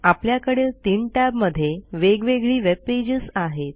आपल्याकडील ३ टॅब मधे वेगवेगळी वेबपेजेस आहेत